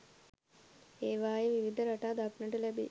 ඒවායේ විවිධ රටා දක්නට ලැබේ.